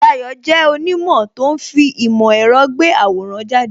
Dayo jẹ́ onimo tó ń fi ìmò èrò gbé àwòrán jáde